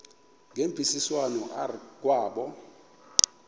ngemvisiswano r kwabo